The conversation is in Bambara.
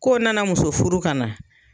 Ko nana muso furu ka na